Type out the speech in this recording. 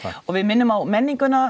við minnum á menninguna